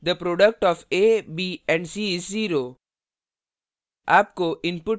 the product of a b and c is zero